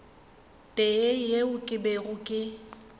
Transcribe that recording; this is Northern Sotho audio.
tee yeo ke bego ke